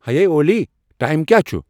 ہیے اولی، ٹایم کیا چُُھ ؟